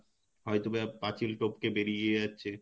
হয়তো পাচিল টপকে বেরিয়ে যাচ্ছে